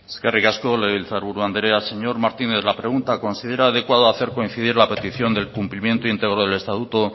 eskerrik asko legebiltzarburu andrea señor martínez la pregunta considera adecuado hacer coincidir la petición del cumplimiento íntegro del estatuto